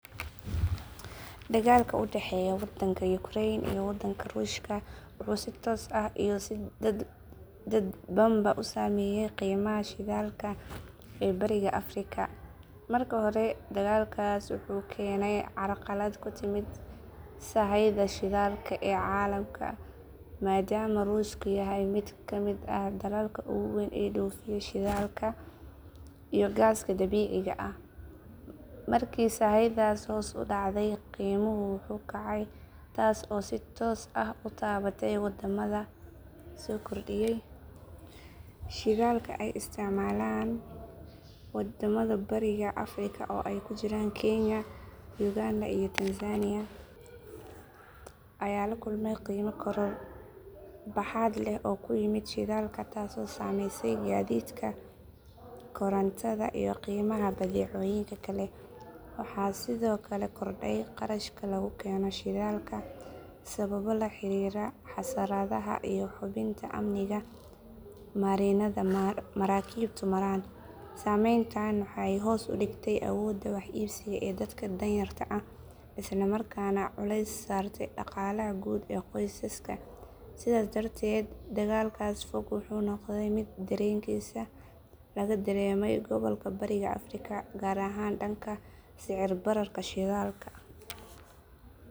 Dagaalka u dhexeeya wadanka ukreen iyo wadanka ruushka wuxuu si toos ah iyo si dadbanba u saameeyay qiimaha shidaalka ee Bariga Afrika. Marka hore dagaalkaas wuxuu keenay carqalad ku timid sahayda shidaalka ee caalamka maadaama ruushku yahay mid ka mid ah dalalka ugu weyn ee dhoofiya shidaalka iyo gaaska dabiiciga ah. Markii sahaydaas hoos u dhacday, qiimuhu wuu kacay taas oo si toos ah u taabatay wadamada soo kordhiyay shidaalka ay isticmaalaan. Wadamada Bariga Afrika oo ay ku jiraan kenya, ugandha iyo tanzaaniya ayaa la kulmay qiimo koror baaxad leh oo ku yimid shidaalka taasoo saameysay gaadiidka, korontada, iyo qiimaha badeecooyinka kale. Waxaa sidoo kale kordhay kharashka lagu keeno shidaalka sababo la xiriira xasaradaha iyo hubinta amniga marinnada maraakiibtu maraan. Saameyntan waxay hoos u dhigtay awoodda wax iibsiga ee dadka danyarta ah isla markaana culays saartay dhaqaalaha guud ee qoysaska. Sidaas darteed dagaalkaas fog wuxuu noqday mid dareenkiisa laga dareemay gobalka Bariga Afrika, gaar ahaan dhanka sicir bararka shidaalka.